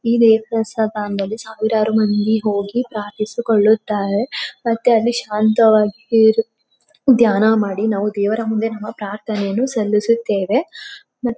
ಈಗ ಈ ದೇವಸ್ಥಾನದಲ್ಲಿ ಸಾವಿರಾರು ಮಂದಿ ಹೋಗಿ ಪ್ರಾರ್ಥಿಸಿ ಕೊಳ್ಳುತ್ತಾರೆ. ಮತ್ತೆ ಅಲ್ಲಿ ಶಾಂತವಾಗಿ ಇರು ಧ್ಯಾನ ಮಾಡಿ ನಾವು ದೇವರ ಮುಂದೆ ನಮ್ಮ ಪ್ರಾರ್ಥನೆಯನ್ನು ಸಲ್ಲಿಸುತ್ತೇವೆ ಮತ್ತು--